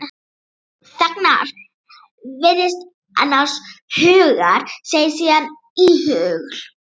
Þagnar, virðist annars hugar, segir síðan íhugul